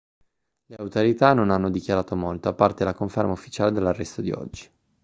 le autorità non hanno dichiarato molto a parte la conferma ufficiale dell'arresto di oggi